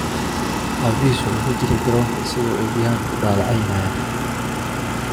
"Aabihiis wuxuu ku jiray garoonka isagoo Eddie Hearn ku dhaleeceynaya."